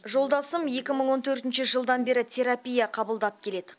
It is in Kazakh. жолдасым екі мың он төртінші жылдан бері терапия қабылдап келеді